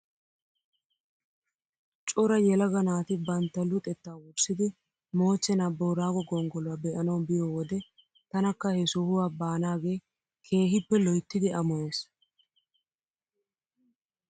Cora yelaga naati bantta luxettaa wurssidi moochchenaa booraago gonggoluwaa be'anaw biyoo wode tanakka he sohuwaa baanaagee keehippe loyttidi amoyes .